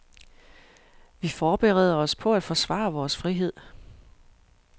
Vi forbereder os på at forsvare vores frihed.